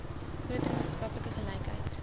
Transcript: groter maatskaplike gelykheid